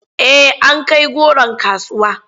Eh an kai goron kasuwa.